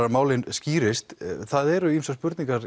að málin skýrist það eru ýmsar spurningar